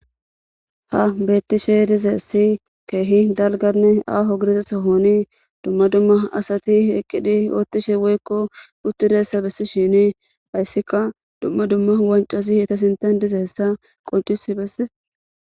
Ha beettishe dizeesi keehi dalganne aaho girizesohoni dumma dumma asati eqqidi oottishe woykko uttiressa bessi shini ayssikka dumma dumma wancasi heta sintan dize hessa qoncisi besse.